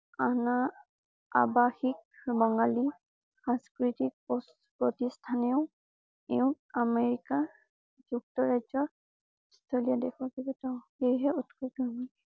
অনা আৱাসিক বঙালী সাংস্কৃতিক প্ৰপ্ৰতিষ্ঠানে ও এওঁক আমেৰিকা যুক্ত ৰাজ্য